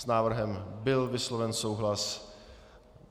S návrhem byl vysloven souhlas.